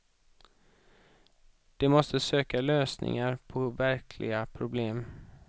De måste söka lösningar på verkliga problem.